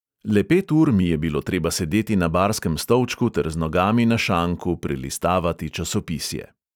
Le pet ur mi je bilo treba sedeti na barskem stolčku ter z nogami na šanku prelistavati časopisje.